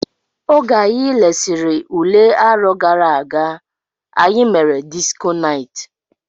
Oge anyi lesiri ụle arọ gara aga, anyị mere disko night.